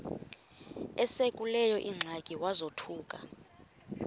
esekuleyo ingxaki wazothuka